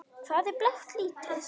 Hvað er blátt lítið?